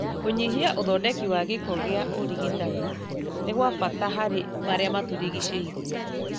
Kũgnyihia ũthondeki wa gĩko gĩa ũrigitani nĩ gwa bata harĩ marĩa matũrigicĩirie